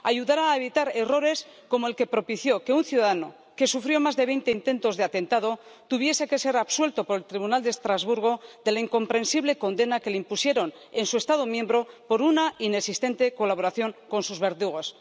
ayudará a evitar errores como el que propició que un ciudadano que sufrió más de veinte intentos de atentado tuviese que ser absuelto por el Tribunal de Estrasburgo de la incomprensible condena que le impusieron en su Estado miembro por una inexistente colaboración con sus verdugos.